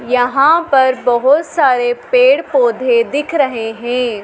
यहां पर बहुत सारे पेड़ पौधे दिख रहे हैं।